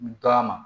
Taama